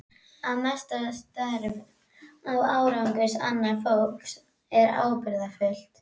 Að meta störf og árangur annars fólks er ábyrgðarhluti.